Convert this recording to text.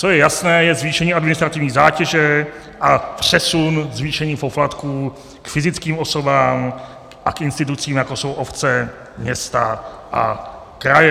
Co je jasné, je zvýšení administrativní zátěže a přesun zvýšení poplatků k fyzickým osobám a k institucím, jako jsou obce, města a kraje.